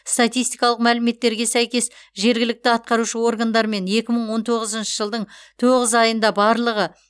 статистикалық мәліметтерге сәйкес жергілікті атқарушы органдармен екі мың он тоғызыншы жылдың тоғыз айында барлығы